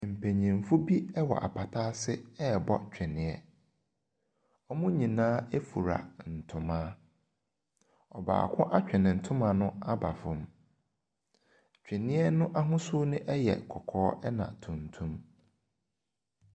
Mpanimfo bi wɔ apata ase rebɔ twene. Wɔn nyinaa fura ntoma. Ɔbaako atwe ne ntoma no aba fam. Twene no ahosuo no yɛ kɔkɔɔ ɛnna tuntum.